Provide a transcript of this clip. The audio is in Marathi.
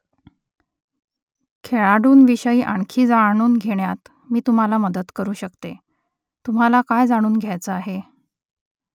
खेळाडूंविषयी आणखी जाणून घेण्यात मी तुम्हाला मदत करू शकते . तुम्हाला काय जाणून घ्यायचं आहे ?